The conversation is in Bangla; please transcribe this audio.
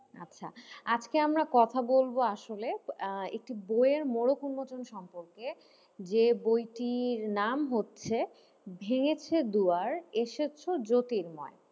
আচ্ছা, আজকে আমরা কথা বলবো আসলে আহ একটি বইয়ের মোড়ক উন্মোচন সম্পর্কে যে বইটির নাম হচ্ছে ভেঙেছে দুয়ার এসেছো জ্যোতির্ময়,